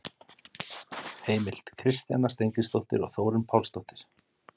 Heimild: Kristjana Steingrímsdóttir og Þórunn Pálsdóttir.